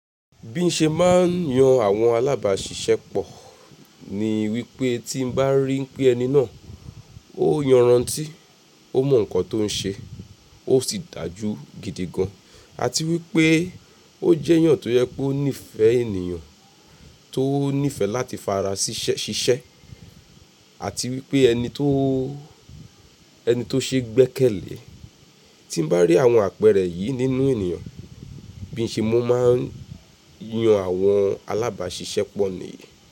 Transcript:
Bí n ṣe má ń yan àwọn alábàṣiṣẹ́pọ̀ ni wípé tí n bá rí pé ẹni náà ó yanrantí, ó mọ nkan tí ó ń ṣe, ó sì dájú gidi gan. Àti wí pé ó jẹ́ èèyàn tó jẹ́ wípé ó nífẹ̀ẹ́ ènìyàn, tó nífẹ̀ẹ́ láti fara ṣiṣẹ́, àti wí pé ẹni tó, ẹni tó ṣe é gbẹ́kẹ̀lẹ́. Ti n bá rí àwọn àpẹẹrẹ yìí nínú ènìyàn, bí n ṣe mo má ń yan àwọn alábàáṣiṣẹ́ pọ̀ ni.